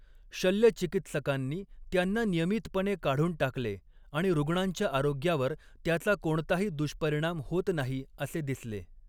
शल्यचिकित्सकांनी त्यांना नियमितपणे काढून टाकले आणि रुग्णांच्या आरोग्यावर त्याचा कोणताही दुष्परिणाम होत नाही असे दिसले.